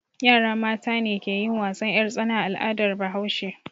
Yara mata ne ke yin wasan 'yartsana a al'adar Bahaushe.